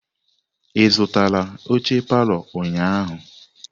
Ị zụtara oche palọ ụnyahụ?